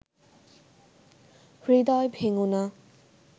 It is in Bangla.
হৃদয় ভেঙো না